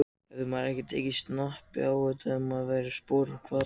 Hefði maður ekki tekið snappið á þetta ef maður hefði verið í sporum Hvatar?